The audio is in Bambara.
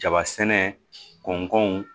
Jaba sɛnɛ kɔw